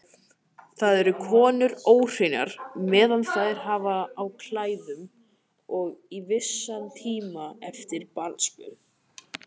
Þá eru konur óhreinar meðan þær hafa á klæðum og í vissan tíma eftir barnsburð.